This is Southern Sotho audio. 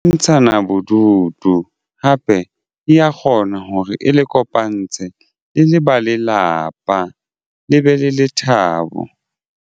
Ntshana bodutu hape di ya kgona hore e le kopantshe le le ba lelapa le be le lethabo.